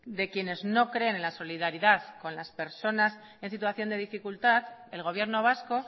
de quienes no creen en la solidaridad con las personas en situación de dificultad el gobierno vasco